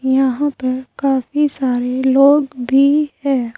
यहां पर काफी सारे लोग भी है।